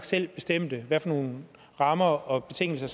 selv bestemte hvad for nogle rammer og betingelser